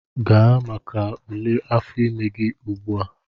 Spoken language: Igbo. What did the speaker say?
Gaa maka ule afọ ime gị ugbu a!